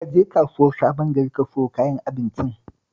Ka je kasuwar Sabon gari ka sayo kayan abincin